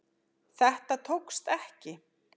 Þetta tókst ekki